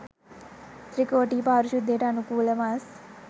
ත්‍රිකෝටි පරිශුද්ධියට අනුකූල මස්